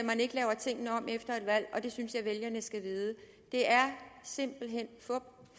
man ikke laver tingene om efter et valg og det synes jeg vælgerne skal vide det er simpelt hen fup